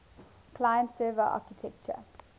client server architecture